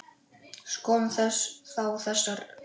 Skoðum þá þessa þætti.